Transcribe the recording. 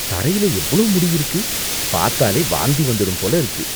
தரையில எவ்ளோ முடி இருக்கு. பாத்தாலே வாந்தி வந்துடும் போல இருக்கு.